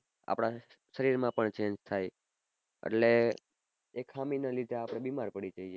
આપડા શરીર માં પન change થાય એટલે એક ખામી ના લીઘે આપડે બીમાર પડી જઈએ